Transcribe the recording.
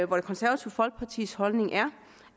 hvor det konservative folkepartis holdning er